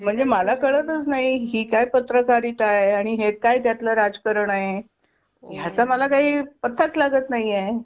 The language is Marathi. म्हणजे मला कळतच नाही ही काय पत्रकारिता आहे आणि हे काय त्यातलं राजकारण आहे? ह्याचा मला काही पत्ताच लागत नाही आहे.